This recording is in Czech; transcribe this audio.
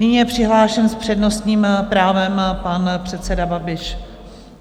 Nyní je přihlášen s přednostním právem pan předseda Babiš.